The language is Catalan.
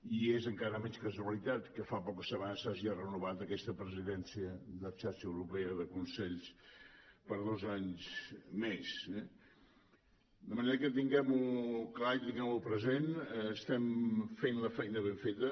i és encara menys casualitat que fa poques setmanes s’hagi renovat aquesta presidència de xarxa europea de consells per a dos anys més eh de manera que tinguem ho clar i tinguem ho present estem fent la feina ben feta